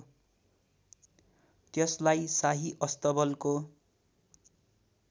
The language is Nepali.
त्यसलाई शाही अस्तबलको